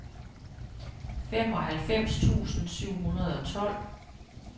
femoghalvfems tusind syv hundrede og tolv